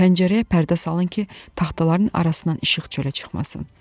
Pəncərəyə pərdə salın ki, taxtaların arasından işıq çölə çıxmasın.